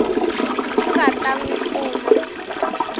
nga ta n wi pfuna